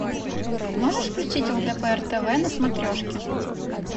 можешь включить лдпр тв на смотрешке